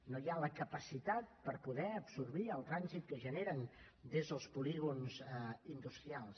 no hi ha la capacitat per poder absorbir el trànsit que es genera des dels polígons industrials